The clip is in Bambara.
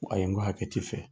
N ko ayi n ko hakɛ t'i fɛ